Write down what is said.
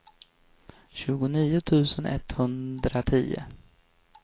tjugonio tusen etthundratio